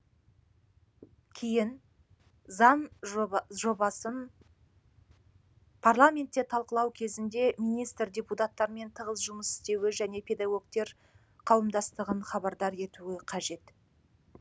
кейін заң жобасын парламентте талқылау кезінде министр депутаттармен тығыз жұмыс істеуі және педагогтер қауымдастығын хабардар етуі қажет